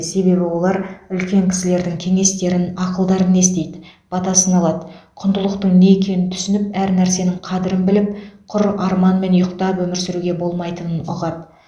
себебі олар үлкен кісілердің кеңестерін ақылдарын естиді батасын алады құндылықтың не екенін түсініп әр нәрсенің қадірін біліп құр арманмен ұйықтап өмір сүруге болмайтынын ұғады